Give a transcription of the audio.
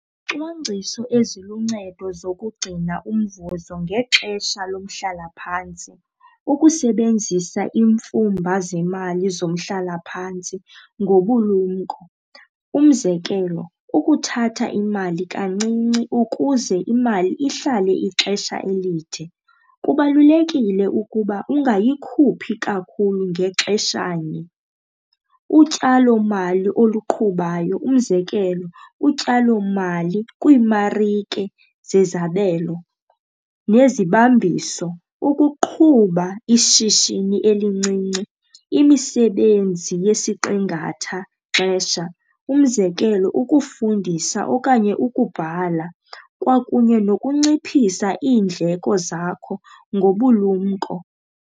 Ucwangciso eziluncedo zokugcina umvuzo ngexesha lomhlala phantsi, ukusebenzisa iimfumba zemali zomhlalaphantsi ngobulumko. Umzekelo, ukuthatha imali kancinci ukuze imali ihlale ixesha elide, kubalulekile ukuba ungayikhuphi kakhulu ngexesha nye. Utyalomali oluqhubayo, umzekelo, utyalomali kwiimarike zezabelo nezibambiso. Ukuqhuba ishishini elincinci, imisebenzi yesiqingatha xesha, umzekelo, ukufundisa okanye ukubhala kwakunye nokunciphisa iindleko zakho ngobulumko.